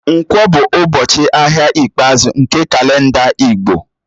Nkwọ̀ bụ ụbọchị ahịa ikpeazụ nke kalenda Igbo